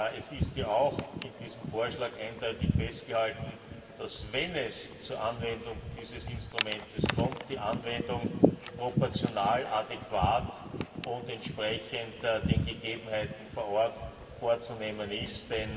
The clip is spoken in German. Es ist ja auch in diesem Vorschlag eindeutig festgehalten, dass, wenn es zur Anwendung dieses Instruments kommt, die Anwendung proportional adäquat und entsprechend den Gegebenheiten vor Ort vorzunehmen ist.